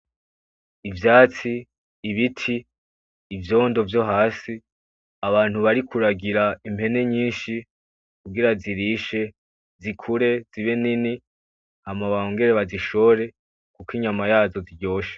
Ivyatsi , ibiti, ivyondo vyo hasi ,bantu bari kuragira impene nyinshi kugira zirishe zikure zibe nyinshi ,zibe nini hama bongere bazishore kuko inyama yazo iryoshe .